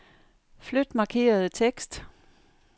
Flyt markerede tekst.